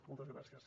moltes gràcies